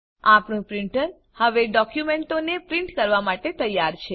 આપણું પ્રીંટર હવે ડોક્યુંમેંટોને પ્રીંટ કરવા માટે તૈયાર છે